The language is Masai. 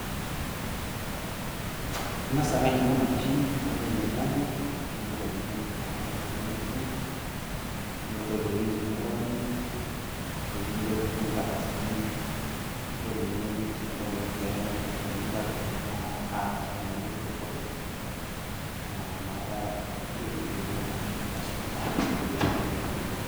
ingas ake ainyiang'u ena mashini. ore pee iidip ainyiang'u ,nimpotu oltungani naa oyieu nisum, nintol iwuejitin neeyieu nironyi, ore eninko tiniyieu nipik inkardasini, ninko tenirony pee etumoki inkardasini naa ataas entoki naji photocopy naa inakata iyiolou kuna aisuma atayiolo eninko tenintumia.